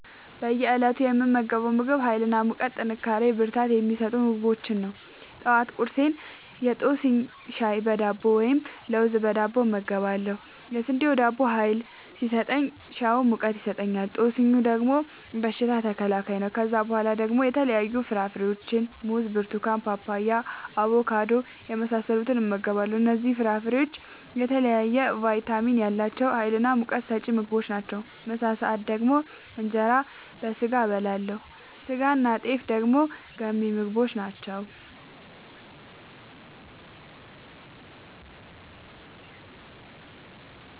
በእየ እለቱ የምመገበው ምግብ ሀይል እና ሙቀት ጥንካሬና ብርታት የሚሰጡ ምግቦችን ነው። ጠዋት ቁርሴን የጦስኝ ሻይ በዳቦ ወይም ለውዝ በዳቦ እበላለሁ። የስንዴ ዳቦው ሀይል ሲሰጠኝ ሻዩ ሙቀት ይሰጠኛል። ጦስኙ ደግሞ በሽታ ተከላካይ ነው። ከዛ በኋላ ደግሞ የተለያዩ ፍራፍሬዎችን(ሙዝ፣ ብርቱካን፣ ፓፓያ፣ አቦካዶ) የመሳሰሉትን እመገባለሁ እነዚህ ፍራፍሬዎች የተለያየ ቫይታሚን ያላቸው ሀይልናሙቀት ሰጪ ምግቦች ናቸው። ምሳ ሰአት ደግሞ እንጀራ በስጋ አበላለሁ ስጋናጤፍ ደግሞ ገንቢ ምግቦች ናቸው